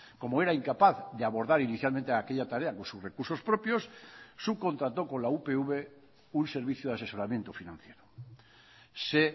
como era incapaz de abordar inicialmente aquella tarea con sus recursos propios subcontrató con la upv un servicio de asesoramiento financiero se